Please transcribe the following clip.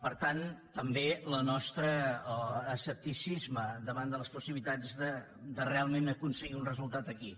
per tant també el nostre escepticisme davant de les possibilitats de realment aconseguir un resultat aquí